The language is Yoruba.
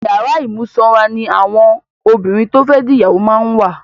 Ìyàrá ìmúsọra ní àwọn obìnrin to fe di ìyàwó máa ń wà.